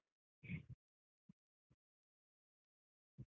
.